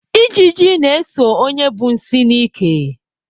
Ijiji na-eso onye bu nsị n'ike.